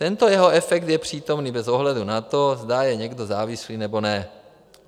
Tento jeho efekt je přítomný bez ohledu na to, zda je někdo závislý, nebo ne.